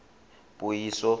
puiso